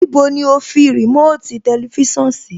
Níbo ni o fi remote tẹlifísàn sí?